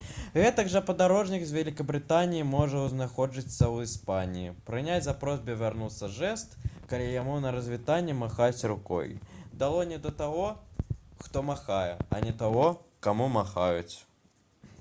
гэтак жа падарожнік з вялікабрытаніі можа знаходзячыся ў іспаніі прыняць за просьбу вярнуцца жэст калі яму на развітанне махаюць рукой далонню да таго хто махае а не таго каму махаюць